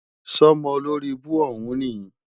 Sọ́mọ olóribú òhún níì?